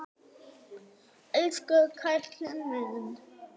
Elsku karlinn minn.